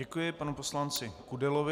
Děkuji panu poslanci Kudelovi.